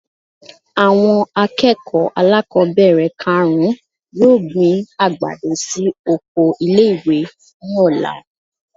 Awon akeko alákobere karún-un yoo gbin agbado si oko ile-iwe ní ola.